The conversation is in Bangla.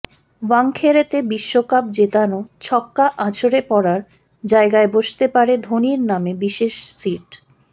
ওয়াংখেড়েতে বিশ্বকাপ জেতানো ছক্কা আছড়ে পড়ার জায়গায় বসতে পারে ধোনির নামে বিশেষ সিট